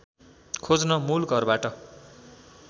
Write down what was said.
खोज्न मूलघरबाट